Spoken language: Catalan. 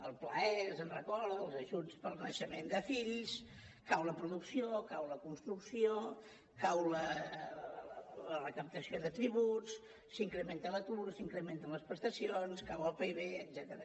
el pla e se’n recorda els ajuts pel naixement de fills cau la producció cau la construcció cau la recaptació de tributs s’incrementa l’atur s’incrementen les prestacions cau el pib etcètera